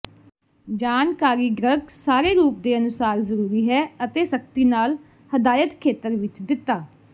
ਜਾਣਕਾਰੀ ਡਰੱਗ ਸਾਰੇ ਰੂਪ ਦੇ ਅਨੁਸਾਰ ਜ਼ਰੂਰੀ ਹੈ ਅਤੇ ਸਖ਼ਤੀ ਨਾਲ ਹਦਾਇਤ ਖੇਤਰ ਵਿੱਚ ਦਿੱਤਾ